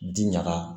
Ji ɲaga